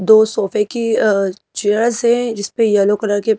दो सोफे की अअ चेयर्स हैं जिस पे येलो कलर के--